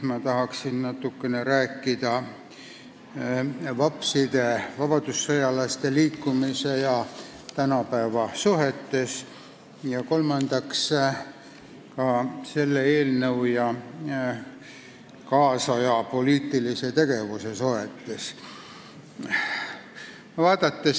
Veel tahan rääkida tänapäeva suhtumisest vapside ehk vabadussõjalaste liikumisse, kolmandaks aga selle eelnõu ja tänapäeva poliitilise tegevuse suhtest.